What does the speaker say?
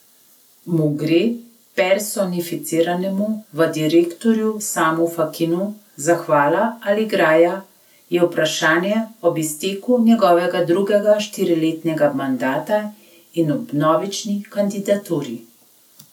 Mu gre, personificiranemu v direktorju Samu Fakinu, zahvala ali graja, je vprašanje ob izteku njegovega drugega štiriletnega mandata in ob vnovični kandidaturi.